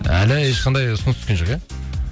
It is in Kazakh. әлі ешқандай ұсыныс түскен жоқ иә